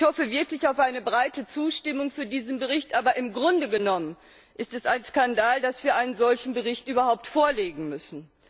Ich hoffe wirklich auf eine breite Zustimmung für diesen Bericht, aber im Grunde genommen ist es ein Skandal, dass wir einen solchen Bericht überhaupt vorlegen müssen.